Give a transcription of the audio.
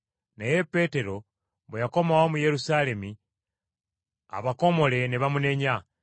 Naye Peetero bwe yakomawo mu Yerusaalemi, abakomole ne bamunenya,